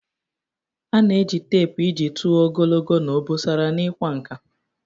A na-eji teepu iji tụọ ogologo na obosara n'ịkwa nkà.